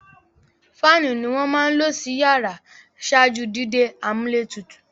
Fáànù ni wọ́n máa ń lò sí iyàrá ṣáájú dídé amúlétutù.